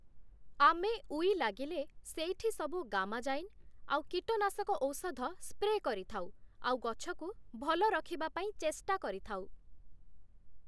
ଆମେ ଊଇ ଲାଗିଲେ ସେଇଠି ସବୁ ଗାମାଜାଇନ୍, ଆଉ କୀଟନାଶକ ଔଷଧ ସ୍ପ୍ରେ କରିଥାଉ, ଆଉ ଗଛକୁ ଭଲ ରଖିବାପାଇଁ ଚେଷ୍ଟା କରିଥାଉ ।